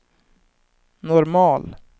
normal